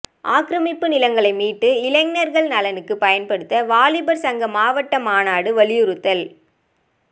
ஆக்கிரமிப்பு நிலங்களை மீட்டு இளைஞர்கள் நலனுக்கு பயண்படுத்துக வாலிபர் சங்க மாவட்ட மாநாடு வலியுறுத்தல்